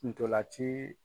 N'tolan ci